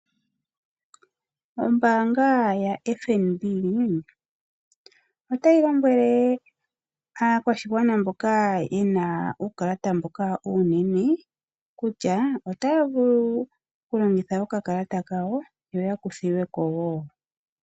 Ombanga YaFNB otayi lombwele aakwashigwana mboka yena uukalata uunene kutya otaavulu okulongitha okakalata kayo yo yakuthilweko woo.